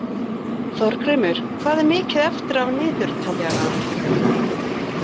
Þorgrímur, hvað er mikið eftir af niðurteljaranum?